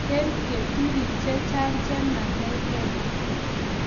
Mito keturek chechang che makargei